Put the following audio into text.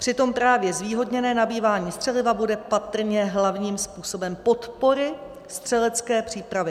Přitom právě zvýhodněné nabývání střeliva bude patrně hlavním způsobem podpory střelecké přípravy.